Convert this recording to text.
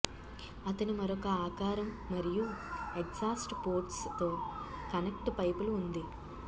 అతను మరొక ఆకారం మరియు ఎగ్సాస్ట్ పోర్ట్సు తో కనెక్ట్ పైపులు ఉంది